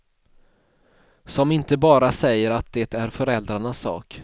Som inte bara säger att det är föräldrarnas sak.